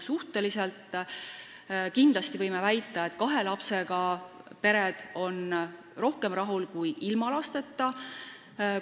Suhteliselt kindlasti võib väita, et kahe lapsega pered on rohkem rahul kui ilma lasteta pered.